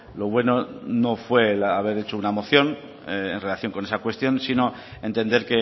lo bueno no fue haber hecho una moción en relación con esa cuestión sino entender